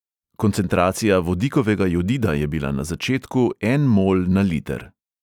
Koncentracija vodikovega jodida je bila na začetku en mol na liter.